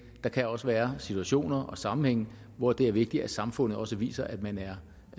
der kan også være situationer og sammenhænge hvor det er vigtigt at samfundet også viser at man er